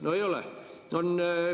No ei ole!